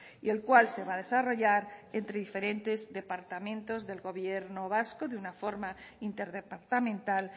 y el cual se va a desarrollar entre diferentes departamentos del gobierno vasco de una forma interdepartamental